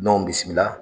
N'anw bisimila